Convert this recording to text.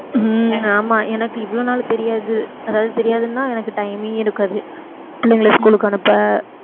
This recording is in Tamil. உம் ஆமா எனக்கு இவ்வளவு நாள் தெரியாது அதாவது தெரியாதுன்னா எனக்கு time ஏ இருக்காது பிள்ளைங்களை school க்கு அனுப்ப